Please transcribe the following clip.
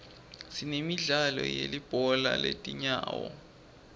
sinemidlalo yelibhola letinyawo